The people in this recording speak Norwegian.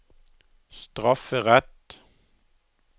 strafferett